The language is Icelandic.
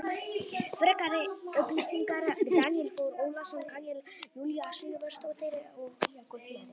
Frekari upplýsingar Daníel Þór Ólason Karen Júlía Sigurðardóttir og Jakob Smári.